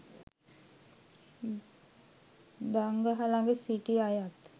දංගහ ළග සිටි අයත්